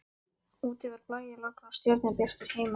Úti var blæjalogn og stjörnubjartur himinn.